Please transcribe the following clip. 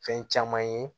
Fɛn caman ye